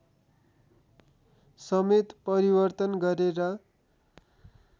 समेत परिवर्तन गरेर